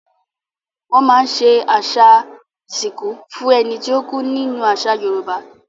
Wọ́n máa ń ṣe àṣà ìsìnkú fún ẹni tó kú nínú àṣà Yorùbá.